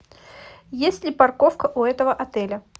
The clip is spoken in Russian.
есть ли парковка у этого отеля